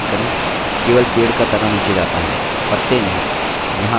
केवल पेड़ का तना नीचे जाता है; पत्ते नहीं!